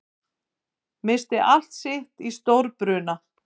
Missti allt sitt í stórbruna